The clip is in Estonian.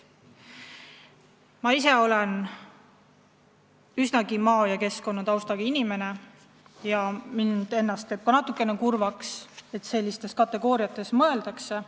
Ma ise olen üsnagi maa- ja keskkonnataustaga inimene ja mind teeb ka natukene kurvaks, et sellistes kategooriates mõeldakse.